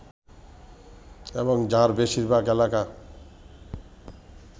এবং যার বেশিরভাগ এলাকা